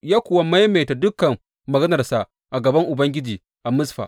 Ya kuwa maimaita dukan maganarsa a gaban Ubangiji a Mizfa.